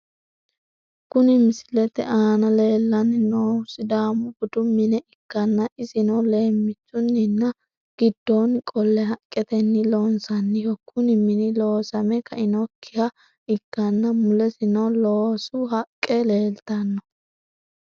Kuni misilete aana lellanni noohu sidaamu budu mine ikkanna isino leemmichuninna giddoonni qolle haqqetenni loonsanniho. kuni mini loosame kainokkiha ikkana mulesino loosu hakke leeltanno.